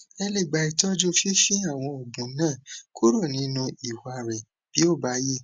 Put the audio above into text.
ẹ lè gba itọju fífi àwọn oògùn náà kúrò nínú ìwà rẹ bí ó bá yẹ